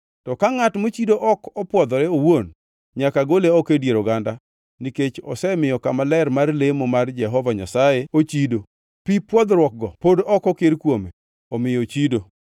To ka ngʼat mochido ok opwodhore owuon, nyaka gole oko e dier oganda, nikech osemiyo kama ler mar lemo mar Jehova Nyasaye ochido. Pi pwodhruokgo pod ok okir kuome, omiyo ochido.